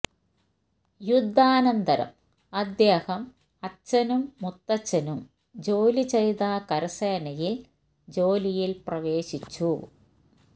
യുദ്ധാനന്തരം അദ്ദേഹം അച്ഛനും മുത്തച്ഛനും ജോലി ചെയ്ത കരസേനയിൽ ജോലിയിൽ പ്രവേശിച്ചു